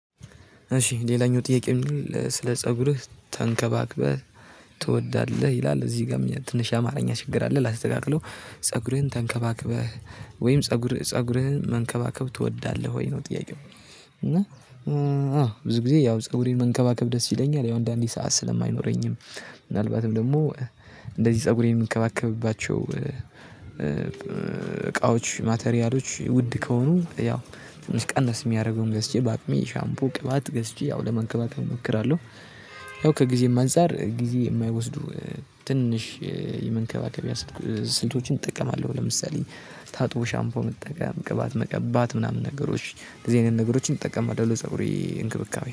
እሺ ሌላኛው ጥያቄ የሚለው ስለ ፀጉርህ ተንከባክበህ ትወዳለህ? ይላል እዚህ ጋር ትንሽ አማርኛ ችግር አለ ላስተካክለው ፀጉርህን ተንከባክበህ ወይም ፀጉር ፀጉርህን መንከባከብ ትወዳለህ ወይ ነው ጥያቄው። እና እ አዎ ብዙ ጊዜ ያው ፀጉሬን መንከባከብ ደስ ይለኛል ያው እንደ አንዴ ሰዓት ስለማይኖረኝም። ምናልባትም ደግሞ እንደዚህ ፀጉሬን የምንከባከብባቸው እ እቃዎች ማተሪያሎች ውድ ከሆኑ ያው ትንሽ ቀነስ የሚያደርገውን ገዝቼ በአቅሜ ሻምፖ፣ ቅባት ገዝቼ ያው ለመንከባከብ እሞክራለሁ። ያው ከጊዜም አንፃር ጊዜ የማይወስዱ ትንሽ የመንከባከቢያ ስልቶችን ይጠቀማል። ለምሳሌ ታጥቦ ሻምፖ መጠቀም ቅባት መቀባት ምናምን ነገሮች እንደዚህ አይነት ነገሮችን እንጠቀማለን። ለ ፀጉሬ እንክብካቤ